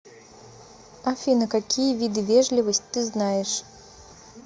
афина какие виды вежливость ты знаешь